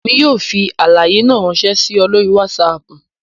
Emi yoo fi alaye naa ranṣẹ si ọ lori Wásáápu